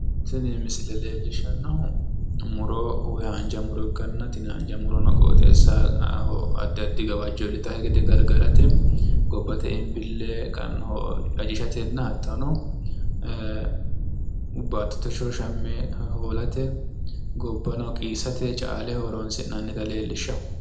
Tini misile leellishanohu muro ikkanna muro gobbate ayare gade qiisate, caaleho horo uyittanotta xawisano